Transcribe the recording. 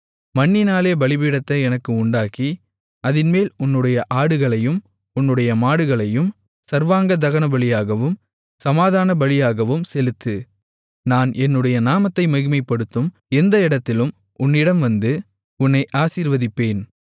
மண்ணினாலே பலிபீடத்தை எனக்கு உண்டாக்கி அதின்மேல் உன்னுடைய ஆடுகளையும் உன்னுடைய மாடுகளையும் சர்வாங்க தகனபலியாகவும் சமாதானபலியாகவும் செலுத்து நான் என்னுடைய நாமத்தை மகிமைப்படுத்தும் எந்த இடத்திலும் உன்னிடம் வந்து உன்னை ஆசீர்வதிப்பேன்